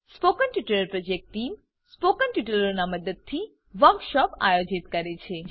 spoken tutorial project team spoken ટ્યુટોરીયલોની મદદથી workshop આયોજિત કરે છે